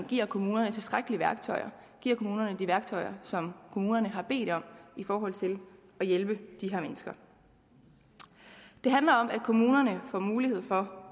give kommunerne tilstrækkelige værktøjer give kommunerne de værktøjer som kommunerne har bedt om i forhold til at hjælpe de her mennesker det handler om at kommunerne får mulighed for